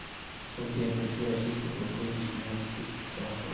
сколько я получу российских рублей за семнадцать тысяч франков